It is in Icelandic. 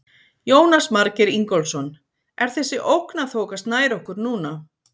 Jónas Margeir Ingólfsson: Er þessi ógn að þokast nær okkur núna?